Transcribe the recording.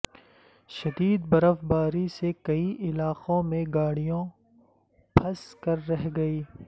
شدید برف باری سے کئی علاقوں میں گاڑیوں پھنس کر رہ گئی